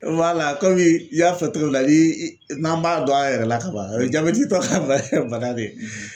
komi i y'a fɔ cogo min na, ni i n'an b'a dɔn an yɛrɛ la ka ban o ye jabɛtitɔ ka bana bana de ye